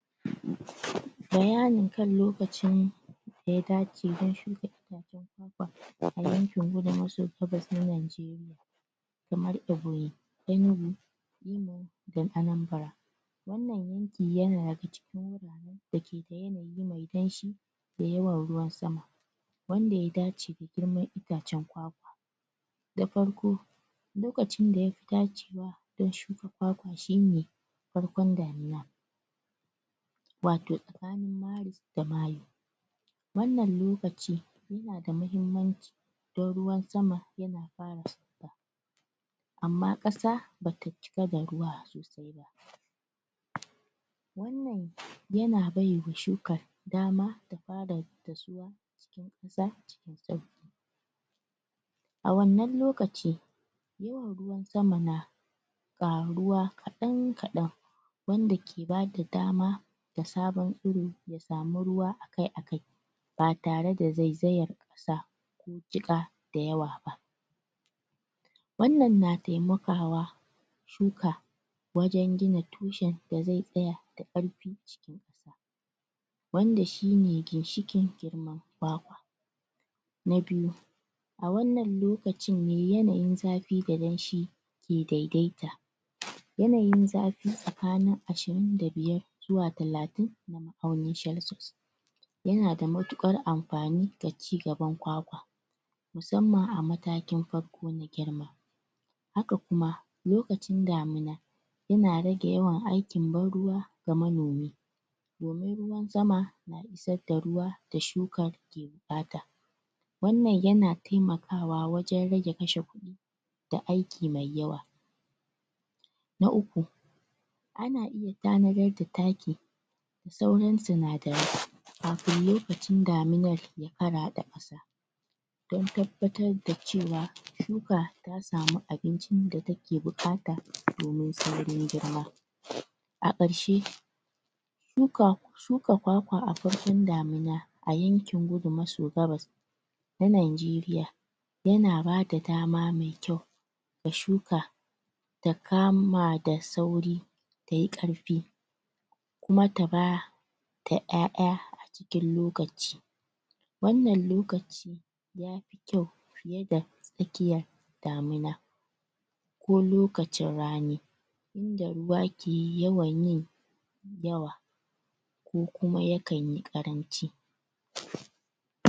bayan kan lokacin daya dace don shuka daga yankin kudu maso gabas ɗin Najeriya kamar Ebonyi Enugu da Anambra wanan yanki yana daga cikin wurare dake da yanayi me danshi da yawan ruwan sama wanda ya dace da girman itacen kwakwa na farko lokacin da yafi dacewa dan shuka kwakwa shine farkon damina wato da mayu wanan lokaci nada mahimmanci dan ruwan sama yana fara sauka amma ƙasa bata cika da ruwa sosai ba wanan ya baiwa shukar dama ta fara dasuwa za a wannan lokaci ruwan sama na ƙaruwa kaɗan kaɗan wanda ke bada dama da sabon tsuro ta samu ruwa akai akai ba tare da zaizayan ƙasa jiƙa da yawa ba wannan na temakawa shuka wajan gina tushen da zai tsaya da karfi wanda shine ginshiƙin girman kwakwa na biyu a wannan lokacin ne yanayin zafi da danshi ke daidaita yanayin zafi tsakanin ashirin da biyar zawa talatin ma'unin celsius yanada mutuƙar anfani ga cigaban kwakwa musamman a matakin farko na girma haka kuma lokacin damina ina rage aikin ban ruwa ga manomi dumin ruwan sama isar da ruwa da shukar ke buƙata wanan yana temakawa wajan rage kashe kuɗi da aiki me yawa na uku ana iya tanadar da taki sauran sinsdarai kafin lokacin daminar faraɗa kasa dan tabbatar dacewa shuka ta samu abincin da take buƙata domin saurin girma a karshe shuka shuka kwakwa a farkon damina a yankin gudu maso gabas na nanjeriya yana bada dama me kyau da shuka ta kama da sauri tayi karfi da ƴaƴa cikin lokaci wanan lokaci ya fi kyau yanda tsakiya damina ko lokacin rani inda ruwa ke yawan yi yawa ko kuma yakan yi ƙaranci